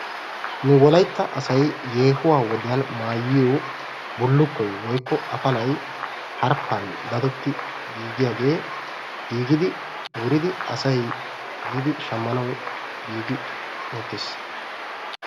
nu wolaytta asay yeehuwaa wodiyan maayiyo bullukkoy woykko afallay giigiyaage giigidi asay shammanawu giigi uttis.